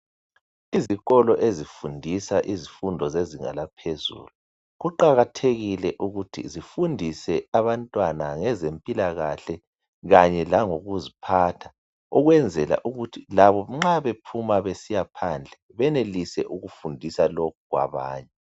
Izikolo ezifundiza izifundo zeganga laphezulu kuqakathekile ukuthi bafundise abantwana ngezempilakahle kanye langokuzikuziphatha ukwenzela ukuthi labo nxa bephuma besiyaphandle benelise ukufundisa lokhu kwabanye.